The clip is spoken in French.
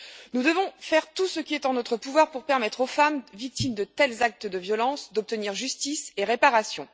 Nous devons faire tout ce qui est en notre pouvoir pour permettre aux femmes victimes de tels actes de violence d'obtenir justice et réparation.